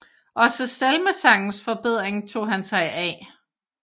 Også salmesangens forbedring tog han sig af